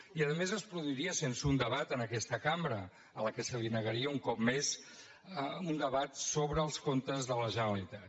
i a més es produiria sense un debat en aquesta cambra a la qual es negaria un cop més un debat sobre els comptes de la generalitat